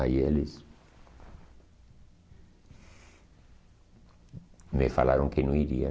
Aí eles... me falaram que não iriam.